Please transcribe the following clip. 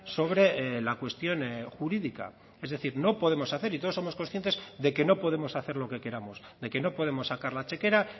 sobre la cuestión jurídica es decir no podemos hacer y todos somos conscientes de que no podemos hacer lo que queramos de que no podemos sacar la chequera